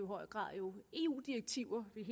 grad eu direktiver vi